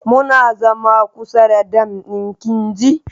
Muna zama kusa da dam din kinji.